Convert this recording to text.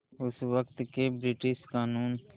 उस वक़्त के ब्रिटिश क़ानून